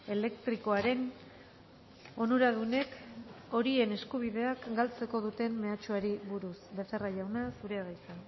elektrikoaren onuradunek horien eskubideak galtzeko duten mehatxuari buruz becerra jauna zurea da hitza